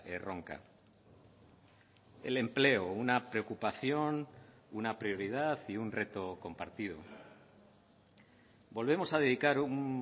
erronka el empleo una preocupación una prioridad y un reto compartido volvemos a dedicar un